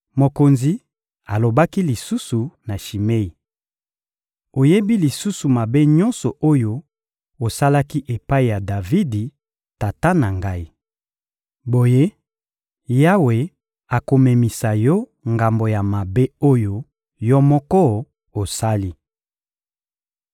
Mokonzi alobaki lisusu na Shimei: — Oyebi lisusu mabe nyonso oyo osalaki epai ya Davidi, tata na ngai! Boye, Yawe akomemisa yo ngambo ya mabe oyo yo moko osali.